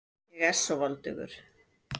Ég er svo voldugur.